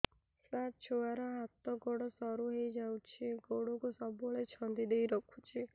ସାର ଛୁଆର ହାତ ଗୋଡ ସରୁ ହେଇ ଯାଉଛି ଗୋଡ କୁ ସବୁବେଳେ ଛନ୍ଦିଦେଇ ରଖୁଛି